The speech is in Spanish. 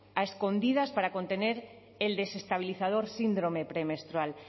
a escondidas para contener el desestabilizador síndrome premenstrual